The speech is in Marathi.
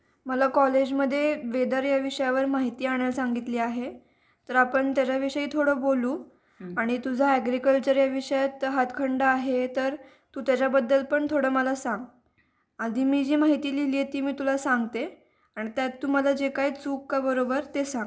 मला कॉलेजमध्ये वेदर या विषयावर माहिती आणायला सांगितले आहे तर आपण त्यांच्या विषयी थोडं बोलू आणि तुझा ऍग्रीकल्चर याविषयाचा हातखंडा आहे तर तू त्याच्याबद्दल पण थोडा मला सांग आधी मी माहिती लिहिली होती मी तुला सांगते आणि त्यात तू मला जे काही चूक का बरोबर ते सांगा